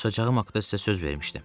Susacağıma haqda sizə söz vermişdim.